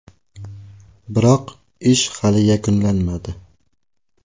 Biroq ish hali yakunlanmadi.